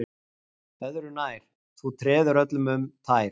Öðru nær, þú treður öllum um tær